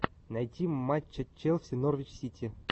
найти матча челси норвич сити